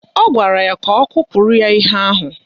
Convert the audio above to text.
Ọ gwara ya ka ọ kụpụrụ ya ihe ahụ